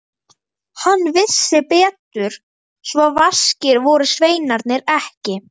Hann vissi betur, svo vaskir voru sveinarnir ekki.